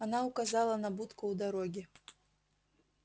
она указала на будку у дороги